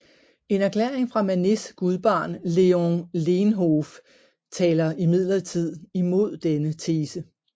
En erklæring fra Manets gudbarn Léon Leenhoff taler imidlertid imod denne tese